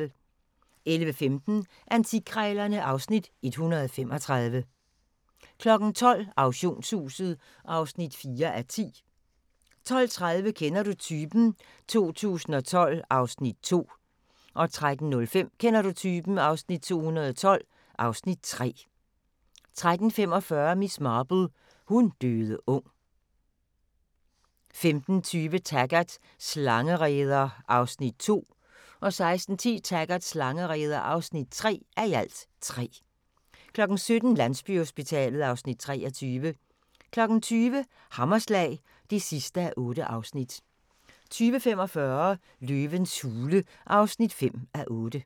11:15: Antikkrejlerne (Afs. 135) 12:00: Auktionshuset (4:10) 12:30: Kender du typen? 2012 (Afs. 2) 13:05: Kender du typen? 2012 (Afs. 3) 13:45: Miss Marple: Hun døde ung 15:20: Taggart: Slangereder (2:3) 16:10: Taggart: Slangereder (3:3) 17:00: Landsbyhospitalet (Afs. 23) 20:00: Hammerslag (8:8) 20:45: Løvens hule (5:8)